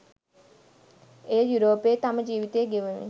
එය යුරෝපයේ තම ජීවිතය ගෙවමින්